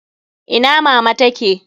Ina mama ta ke?